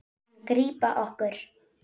Hann grípa okkur.